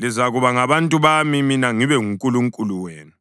lizakuba ngabantu bami, mina ngibe nguNkulunkulu wenu.